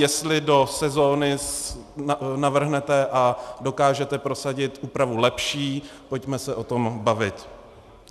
Jestli do sezóny navrhnete a dokážete prosadit úpravu lepší, pojďme se o tom bavit.